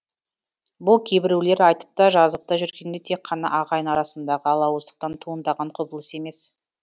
бұл кейбіреулер айтып та жазып та жүргендей тек қана ағайын арасындағы алауыздықтан туындаған құбылыс емес